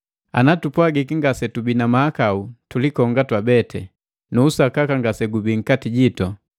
Ana tupwagiki ngase tubii na mahakau tulikonga twabeti, nu usakaka ngasegubii nkati jitu.